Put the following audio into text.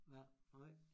Ja nej